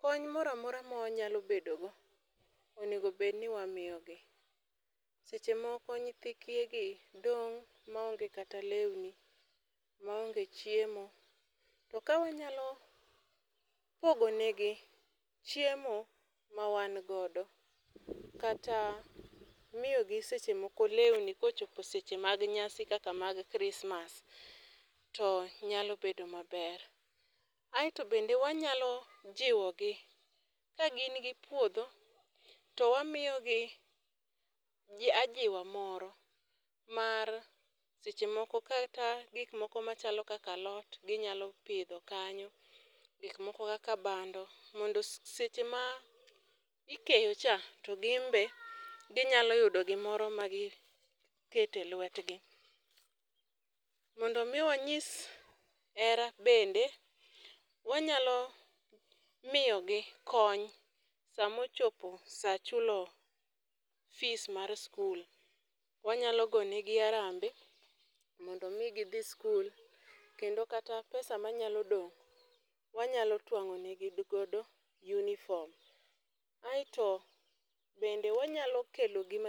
kony moramora ma wanyalo bedo go, onego bed ni wamiyogi. Seche moko nyithi kiye gi dong' ma onge kata lewni, maonge chiemo, to ka wanyalo pogonegi chiemo ma wan godo, kata miyogi seche moko lewni kochopo seche mag nyasi kaka mar christmas to nyalo bedo maber. Aeto bende wanyalo jiwo gi. Ka gini gi puodho, to wamiyogi ajiwa moro, mar seche moko kata gik moko machalo kaka alot ginyalo pidho kanyo. Gikmoko kaka bando, mondo seche ma ikeyo cha, to gin be ginyalo yudo gimoro ma gikete lwetgi. Mondo omi wanyis hera bende, wanyalo miyogi kony sama ochopo saa chulo fees mar sikul. Wanyalo goyo negi harambee mondo omi gidhi sikul. Kendo kata pesa manyalo dong, wanyalo twangó negi godo uniform. Aeto bende wanyalo kelogi.